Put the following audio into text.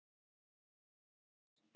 Ég heyri hans.